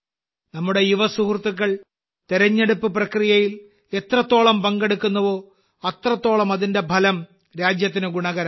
നമ്മുടെ യുവ സുഹൃത്തുക്കൾ തിരഞ്ഞെടുപ്പ് പ്രക്രിയയിൽ എത്രത്തോളം പങ്കെടുക്കുന്നുവോ അത്രത്തോളം അതിന്റെ ഫലം രാജ്യത്തിന് ഗുണകരമാകും